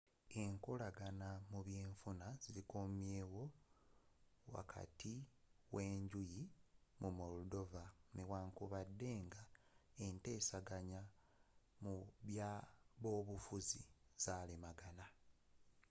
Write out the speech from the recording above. enkolagana mu by'enfuna zikomyewo wakati w;enjuyi mu moldova newankubadde nga enteseganya mu by’abobufuzzi zalemaganye